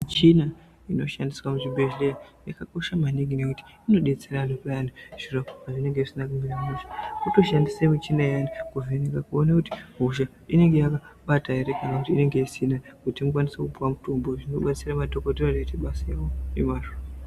Michina inoshandiswa muzvibhehleya yakakosha maningi nekuti inodetsera vantu payani zviro pazvinenge zvisina kumira mushe. Votoshandise michina iyani kuvheneka kuona kuti hosha inenge yakabata here kana kuti inenge isina kuti ukwanise kupuwa mutombo zvinobatsira madhogodheya kuti aite basa ravo nemazvo.